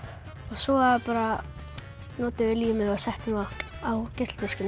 svo notuðum við límið og settum það á geisladiskinn